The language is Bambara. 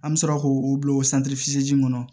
An bɛ sɔrɔ k'o o bila o kɔnɔ